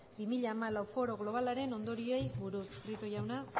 bi mila hamalau foro globalaren ondorioei buruz prieto jauna